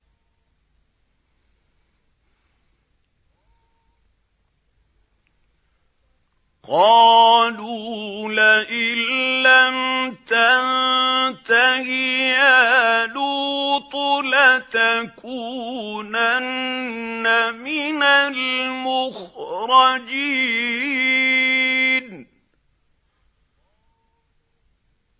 قَالُوا لَئِن لَّمْ تَنتَهِ يَا لُوطُ لَتَكُونَنَّ مِنَ الْمُخْرَجِينَ